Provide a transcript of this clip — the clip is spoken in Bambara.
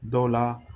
Dɔw la